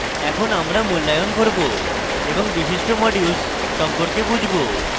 এখন আমরা মূল্যায়ন করবো এবং বিশিষ্ট modules সম্পর্কে বুঝবো